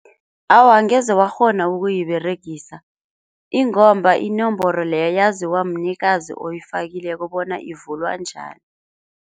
Awa angeze wakghona ukuyiberegisa ingomba inomboro leyo yaziwa mnikazi oyifakileko bona ivulwa njani.